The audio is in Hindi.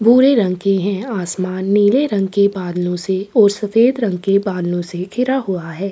भूरे रंग के हैं आसमान नीले रंग के बादलों से और सफेद रंग के बादलों से घिरा हुआ है।